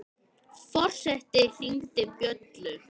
Forseti hringdi bjöllu!